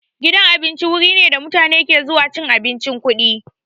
Gidan abinci wuri ne da mutane ke zuwa cin abincin kuɗi.